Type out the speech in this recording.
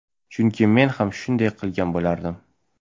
Chunki men ham shunday qilgan bo‘lardim.